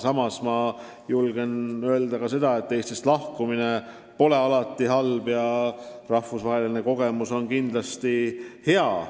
Samas julgen väita, et Eestist lahkumine pole alati halb, rahvusvaheline kogemus on kindlasti hea.